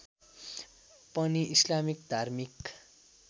पनि इस्लामिक धार्मिक